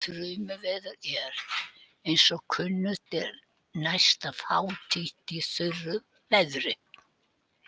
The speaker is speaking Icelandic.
Þrumuveður er, eins og kunnugt er, næsta fátítt í þurru veðri.